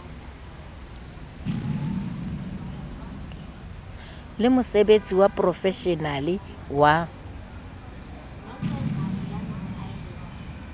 le mosebetsi wa profeshenale wa